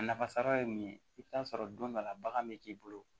A nafa sara ye mun ye i bɛ taa sɔrɔ don dɔ la bagan bɛ k'i bolo